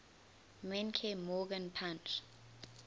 menke morgan punch